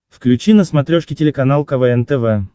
включи на смотрешке телеканал квн тв